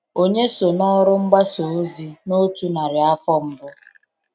Ònye so n’ọrụ mgbasa ozi n’otu narị afọ mbụ?